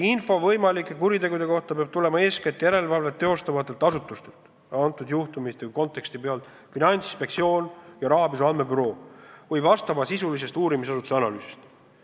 Info võimalike kuritegude kohta peab tulema eeskätt järelevalvet teostavatelt asutustelt – konkreetsel juhtumil on need Finantsinspektsioon ja rahapesu andmebüroo – või asjaomaste uurimisasutuste analüüsi tulemusel.